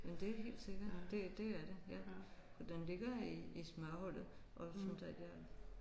Men det er helt sikkert det det er det ja for den ligger i i smørhullet og sådan der ja